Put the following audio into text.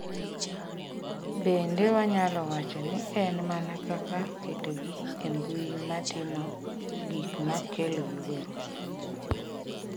"""Bende wanyalo wacho ni en mana kaka ketogi e mbui ma timo gik ma kelo luoro."